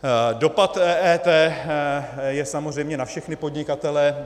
Dopad EET je samozřejmě na všechny podnikatele.